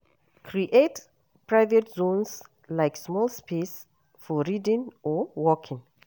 Create private zones like small space for reading or working